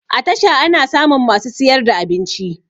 A tasha ana samun masu siyar da abinci